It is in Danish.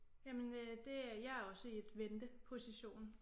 Jamen øh det jeg er også i et venteposition